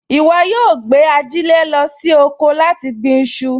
Ìwọ yóò gbé ajílẹ̀ lọ sí oko láti gbin iṣu